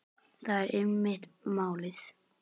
Það er einmitt málið.